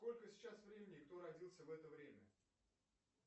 сколько сейчас времени кто родился в это время